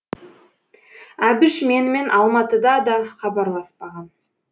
әбіш менімен алматыда да хабарласпаған